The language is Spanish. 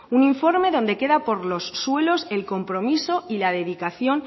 un informe donde queda por los suelos el compromiso y la dedicación